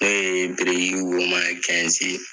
N'oye birikiwoman ye kɛnzi